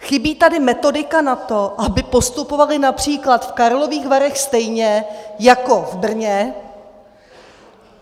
Chybí tady metodika na to, aby postupovali například v Karlových Varech stejně jako v Brně.